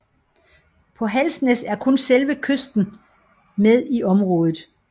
På Halsnæs er kun selve kysten med i området